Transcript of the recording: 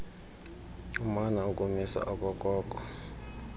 umana ukumisa okokoko